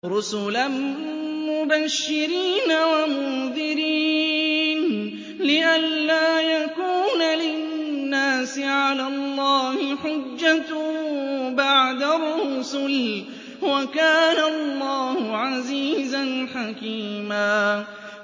رُّسُلًا مُّبَشِّرِينَ وَمُنذِرِينَ لِئَلَّا يَكُونَ لِلنَّاسِ عَلَى اللَّهِ حُجَّةٌ بَعْدَ الرُّسُلِ ۚ وَكَانَ اللَّهُ عَزِيزًا حَكِيمًا